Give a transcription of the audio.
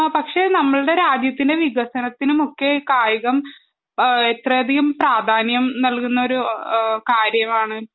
പക്ഷെ നമ്മുടെ രാജ്യത്തിൻറെ വികസനത്തിനും ഒക്കെ കായികം എത്രയധികം പ്രാധാന്യം നൽകുന്ന ഒരു കാര്യമാണ്